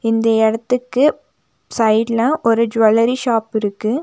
இந்த எடத்துக்கு சைடுல ஒரு ஜுவல்லரி ஷாப் இருக்கு.